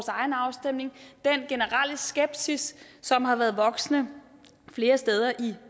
egen afstemning og skepsis som har været voksende flere steder i